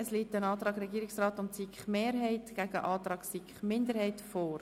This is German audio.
Es liegt ein Antrag Regierungsrat/SiK-Mehrheit gegen einen Antrag SiK-Minderheit vor.